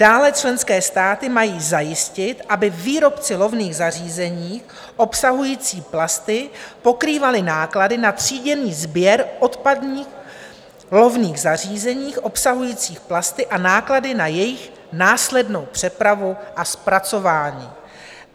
Dále členské státy mají zajistit, aby výrobci lovných zařízení obsahující plasty pokrývali náklady na tříděný sběr odpadních lovných zařízení obsahujících plasty a náklady na jejich následnou přepravu a zpracování.